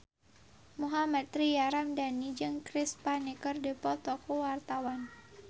Mohammad Tria Ramadhani jeung Chris Pane keur dipoto ku wartawan